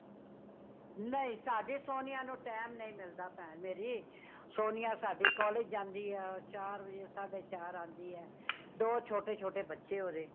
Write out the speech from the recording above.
ਨਹੀਂ , ਸਾਡੀ ਸੋਨੀਆਂ ਨੂੰ time ਨਹੀਂ ਮਿਲਦਾ , ਭੈਣ ਮੇਰੀ ਸੋਨਿਆ ਸਾਡੀ collage ਜਾਂਦੀ ਹੈ ਚਾਰ ਵਜੇ ਸਾਡੇ ਚਾਰ ਆਉਂਦੀ ਹੇ , ਦੋ ਛੋਟੇ-ਛੋਟੇ ਬੱਚੇ ਓਦੇ।